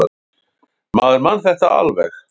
Maður man þetta alveg.